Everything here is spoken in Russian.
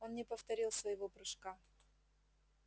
он не повторил своего прыжка